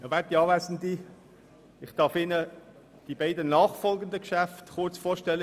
Ich darf Ihnen die beiden nachfolgenden Geschäfte kurz vorstellen.